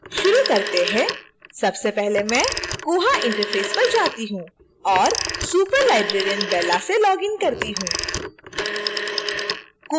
शुरू करते हैं